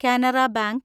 Canara bank